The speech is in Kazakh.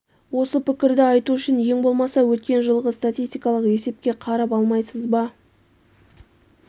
осы пікірді айту үшін ең болмаса өткен жылғы статистикалық есепке қарап алмайсыз ба